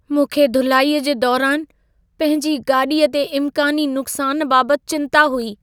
मूंखे धुलाईअ जे दौरानि पंहिंजी गाॾीअ ते इम्कानी नुक़सानु बाबति चिंता हुई।